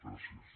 gràcies